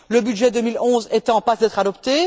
Le budget 2011 est en passe d'être adopté.